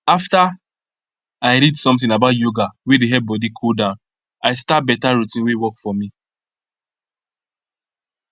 after i read something about yoga wey dey help body cool down i start better routine wey work for me